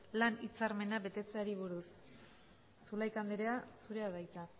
lan hitzarmena betearazteari buruz zulaika anderea zurea da hitza